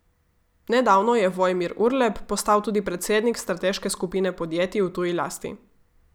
Nedavno je Vojmir Urlep postal tudi predsednik strateške skupine podjetij v tuji lasti.